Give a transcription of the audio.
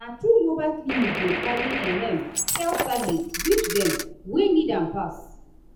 na true mobile clinic dey carry ehm health service reach dem wey need am pass.